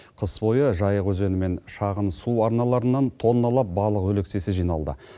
қыс бойы жайық өзені мен шағын су арналарынан тонналап балық өлексесі жиналды